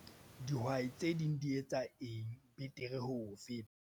Dihwai tse ding di etsa eng betere ho o feta?